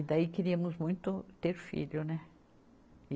E daí queríamos muito ter filho, né? E